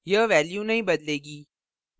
यह value नहीं बदलेगी